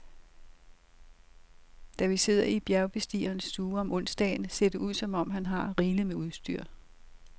Da vi sidder i bjergbestigerens stue om onsdagen, ser det ud, som om han har rigeligt med udstyr.